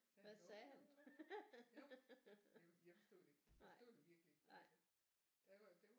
Så sagde han jo jo jo jeg forstod det ikke jeg forstod det virkelig ikke det det var